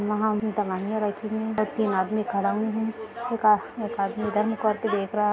यहां इनमें दवाईया रखी गई है और तीन आदमी खड़ा हुए है एक आस एक आदमी इधर मुह करके देख रहा--